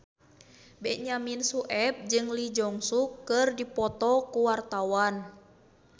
Benyamin Sueb jeung Lee Jeong Suk keur dipoto ku wartawan